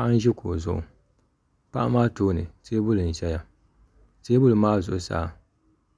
Paɣa n ʒi kuɣu zuɣu paɣa maa tooni teebuli n ʒɛya teebuli maa tooni